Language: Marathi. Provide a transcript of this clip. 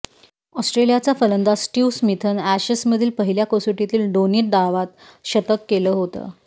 ऑस्ट्रेलियाचा फलंदाज स्टिव्ह स्मिथनं अॅशेसमधील पहिल्या कसोटीतील दोन्ही डावात शतक केलं होतं